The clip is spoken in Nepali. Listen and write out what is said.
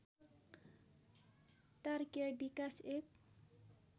तारकीय विकास एक